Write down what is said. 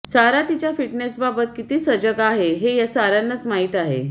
सारा तिच्या फिटनेसबाबत किती सजग आहे हे साऱ्यांनाच माहीत आहे